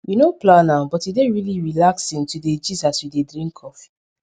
we no plan am but e dey really relaxing to dey gist as we dey drink coffee